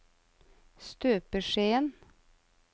støpeskjeen